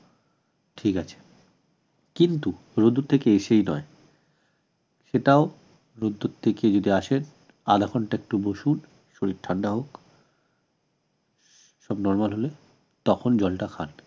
ঠিক আছে কিন্তু রোদ্দুর থেকে এসেই নয় সেটাও রোদ্দুর থেকে যদি আসে আধা ঘন্টা একটু বসুন শরীর ঠান্ডা হোক সব normal হলে তখন জলটা খান